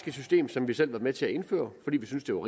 et system som vi selv har været med til at indføre fordi vi synes det